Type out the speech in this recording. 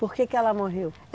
Por que que ela morreu?